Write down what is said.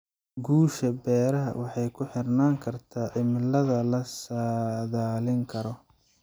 Guusha beeraha waxay ku xirnaan kartaa cimilada la saadaalin karo.